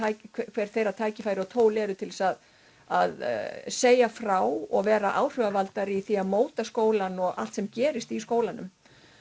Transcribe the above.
hver þeirra tækifæri og tól eru til þess að að segja frá og vera áhrifavaldar í því að móta skólann og allt sem gerist í skólanum